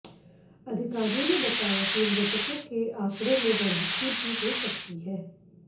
अधिकारियों ने बताया कि मृतकों के आंकड़े में बढ़ोतरी भी हो सकती है